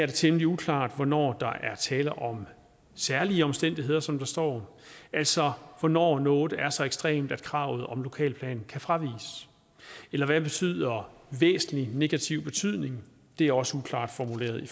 temmelig uklart hvornår der er tale om særlige omstændigheder som der står altså hvornår noget er så ekstremt at kravet om en lokalplan kan fraviges eller hvad betyder væsentlig negativ betydning det er også uklart formuleret i